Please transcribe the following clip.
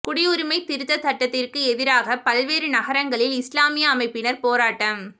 குடியுரிமைத் திருத்தச் சட்டத்திற்கு எதிராக பல்வேறு நகரங்களில் இஸ்லாமிய அமைப்பினர் போராட்டம்